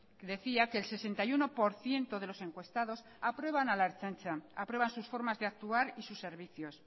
que decía que el sesenta y uno por ciento de los encuestados aprueban a la ertzaintza aprueban sus formas de actuar y sus servicios